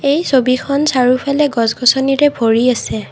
এই ছবিখন চাৰিওফালে গছ গছনিৰে ভৰি আছে।